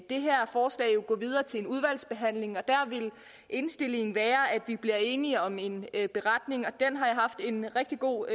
det her forslag jo gå videre til udvalgsbehandling og der vil indstillingen være at vi bliver enige om en beretning og den har jeg haft en rigtig god